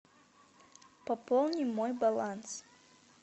пополни мой баланс